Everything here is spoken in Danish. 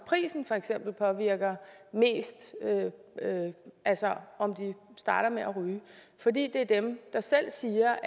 for eksempel prisen påvirker mest altså om de starter med at ryge for de siger